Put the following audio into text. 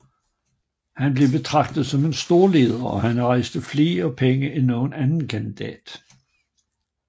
Han blev betraget som en stor leder og han rejste flere penge end nogen anden kandidat